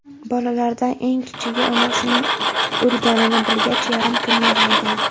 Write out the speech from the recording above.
Bolalardan eng kichigi onasining o‘lganini bilgach, yarim kun yig‘lagan.